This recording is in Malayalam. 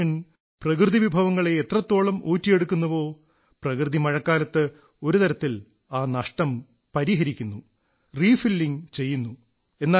മനുഷ്യൻ പ്രകൃതിവിഭവങ്ങളെ എത്രത്തോളം ഊറ്റിയെടുക്കുന്നുവോ പ്രകൃതി മഴക്കാലത്ത് ഒരു തരത്തിൽ ആ നഷ്ടം പരിഹരിക്കുന്നു റീ ഫില്ലിംഗ് ചെയ്യുന്നു